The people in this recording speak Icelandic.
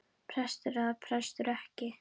Prestur eða prestur ekki.